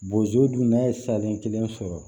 Bozo dun n'a ye salen kelen sɔrɔ